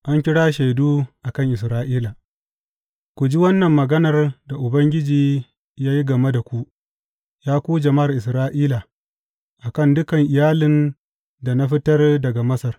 An kira shaidu a kan Isra’ila Ku ji wannan maganar da Ubangiji ya yi game da ku, ya ku jama’ar Isra’ila, a kan dukan iyalin da na fitar daga Masar.